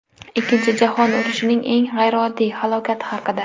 Ikkinchi jahon urushining eng g‘ayrioddiy halokati haqida.